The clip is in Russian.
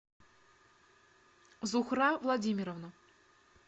зухра владимировна